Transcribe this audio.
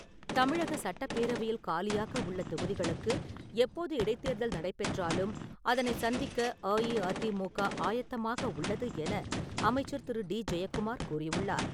தமிழகச் சட்டப்பேரவையில் காலியாக உள்ள தொகுதிகளுக்கு எப்போது இடைத்தேர்தல் நடைபெற்றாலும் அதனை சந்திக்க அஇஅதிமுக ஆயத்தமாக உள்ளது என அமைச்சர் திரு டி ஜெயக்குமார் கூறியுள்ளார்.